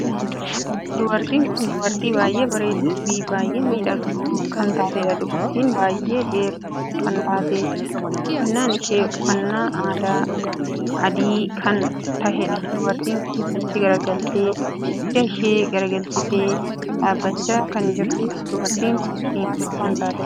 Dubartiin kun dubartii baay'ee bareedduu fi baay'ee miidhagduu kan taateedha. dubartiin baay'ee dheertuu kan taateef uffannaan ishee uffannaa aadaa adii kan taheedha. dubartiin kun achi garagaltee dugda asi garagalchitee dhaabbachaa kan jirtuudha. dubartii kun diimtuu kan taateedha.